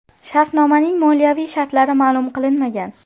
Shartnomaning moliyaviy shartlari ma’lum qilinmagan.